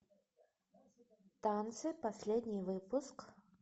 танцы последний выпуск